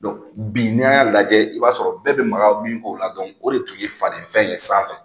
bi n'a y'a lajɛ, i b'a sɔrɔ bɛɛ bɛ maka min k'o la o de tun ye faden fɛn ye sanfɛ.